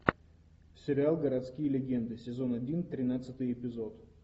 сериал городские легенды сезон один тринадцатый эпизод